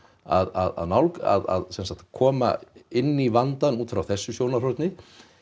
að nálgun að sem sagt koma inn í vandann út frá þessu sjónarhorni